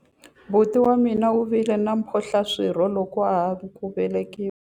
Buti wa mina u vile na mphohlaswirho loko a ha ku velekiwa.